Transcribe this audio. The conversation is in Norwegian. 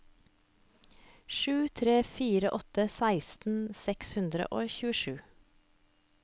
sju tre fire åtte seksten seks hundre og tjuesju